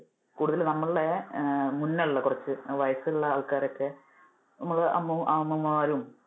കൂടുതല് നമ്മളുടെ മുന്നേ ഉള്ള കുറച്ചു ആ വയസ്സുള്ള ആൾക്കാരൊക്കെ, നമ്മുടെ അ~അമ്മുമ്മമാരും